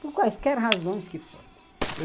Por quaisquer razões que fossem.